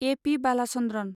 A. P. Balachandran